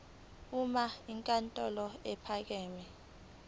uma inkantolo ephakeme